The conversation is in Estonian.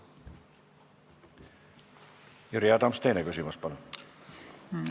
Jüri Adams, teine küsimus, palun!